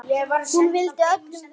Hún vildi öllum vel.